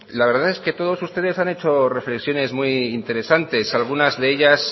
la verdad que todos ustedes han hecho reflexiones muy interesantes algunas de ellas